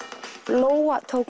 lóa tók